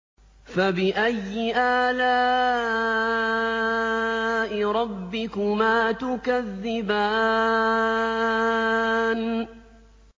فَبِأَيِّ آلَاءِ رَبِّكُمَا تُكَذِّبَانِ